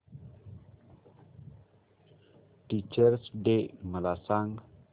teachers day मला सांग